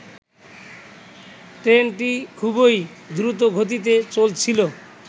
ট্রেনটি খুবই দ্রুতগতিতে চলছিলো